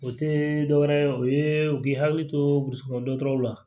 O te dɔwɛrɛ ye o ye u k'i hakili to gosi kɔnɔ dɔtɔrɔw la